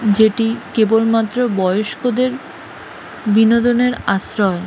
যেটি কেবলমাত্র বয়স্কদের বিনোদনের আশ্রয়।